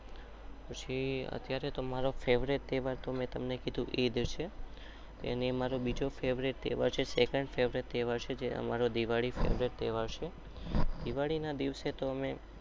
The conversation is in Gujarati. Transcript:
પછી અત્યારે તો મારો ફ્વ્રિત તહેવાર